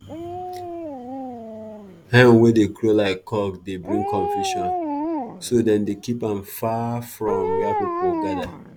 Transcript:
hen wey dey crow like cock dey bring confusion so dem dey keep am far from where people gather.